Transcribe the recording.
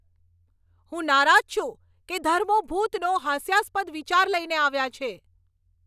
હું નારાજ છું કે ધર્મો ભૂતનો હાસ્યાસ્પદ વિચાર લઈને આવ્યા છે.